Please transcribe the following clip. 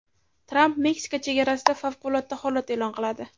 Tramp Meksika chegarasida favqulodda holat e’lon qiladi.